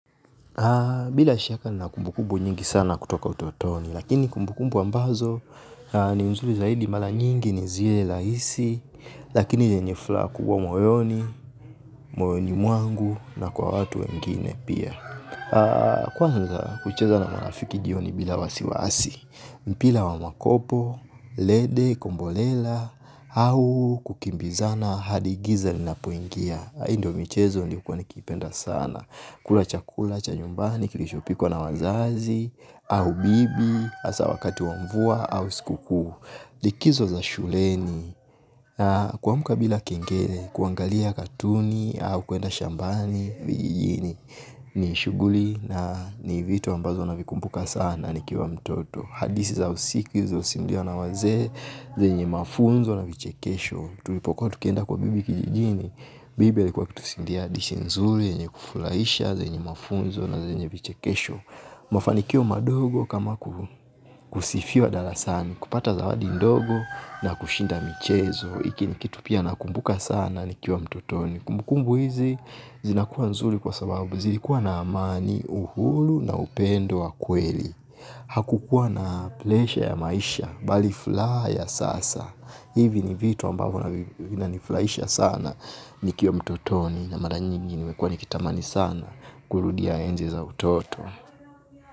Bila shaka nina kumbukubu nyingi sana kutoka utotoni, lakini kumbukumbu ambazo ni nzuri zaidi mara nyingi ni zile rahisi, lakini yenye furaha kubwa moyoni, moyoni mwangu na kwa watu wengine pia. Kwanza kucheza na marafiki jioni bila wasiwasi, mpira wa makopo, lede, kombolela, au kukimbizana, hadi giza linapoingia. Hii ndo michezo nilikuwa nikipenda sana. Kula chakula, cha nyumbani, kilichopikwa na wazazi. Au bibi, hasa wakati wa mvua, au siku kuu. Likizo za shuleni. Kuamka bila kengele, kuangalia katuni. Au kuenda shambani, vijijini. Ni shughuli na ni vitu ambazo navikumpuka sana. Nikiwa mtoto hadithi za usiku silizosimuliwa na wazee zenye mafunzo na vichekesho tulipokuwa tukienda kwa bibi kijijini bibi alikuwa akitusindia hadithi nzuri yenye kufurahisha, zenye mafunzo na zenye vichekesho. Mafanikio madogo kama kusifiwa darasani kupata zawadi ndogo na kushinda michezo. Iki ni kitu pia nakumbuka sana nikiwa mtotoni. Kumbukumbu hizi zinakuwa nzuri kwa sababu zilikuwa na amani uhuru na upendo wa kweli. Hakukua na pleasure ya maisha, bali furaha ya sasa hivi ni vitu ambavyo vinanifurahisha sana. Nikiwa mtotoni na mara nyingi nimekuwa nikitamani sana. Kurudia enzi za utoto.